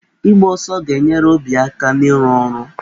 Ịgba ọsọ ga-enyere obi aka na-ịrụ ọrụ.